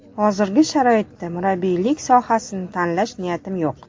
Hozirgi sharoitda murabbiylik sohasini tanlash niyatim yo‘q.